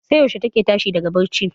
sai yaushe take tashi daga bacci?